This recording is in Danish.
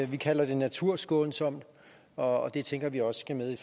vi kalder det naturskånsomt og det tænker vi også skal med i